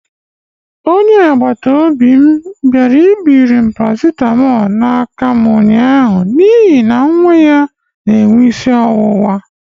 Onye agbata obi m bịara ibiri paracetamol n'aka m ụnyaahụ n'ihi na nwa ya na-enwe isi ọwụwa.